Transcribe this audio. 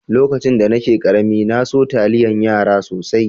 Lokacin da nake karemi, na so taliyan yara sosai.